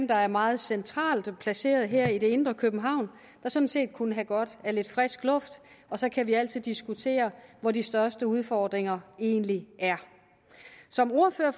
der er meget centralt placeret her i det indre københavn der sådan set kunne have godt af lidt frisk luft og så kan vi altid diskutere hvor de største udfordringer egentlig er som ordfører